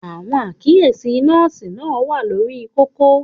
Àwọn àkíyèsí nọ́ọ̀sì náà wà lórí kókó.